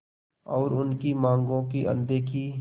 और उनकी मांगों की अनदेखी